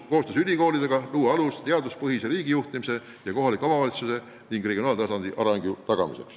Koostöös ülikoolidega luua alus, et tagada teaduspõhine riigijuhtimine ja kohaliku omavalitsuse ning regionaaltasandi areng.